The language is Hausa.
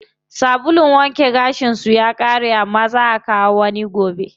Sabulun wanke gashin su ya ƙare amma zaa akawo wani gobe.